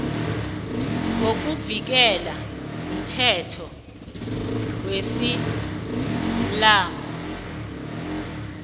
ngokuvunyelwa mthetho wesiislamu